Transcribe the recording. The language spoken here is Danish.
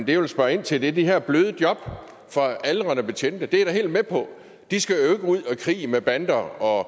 jeg vil spørge ind til er de her bløde job for aldrende betjente det er jeg da helt med på de skal jo ikke ud og i krig med bander og